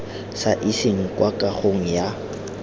sa iseng kwa kagong ya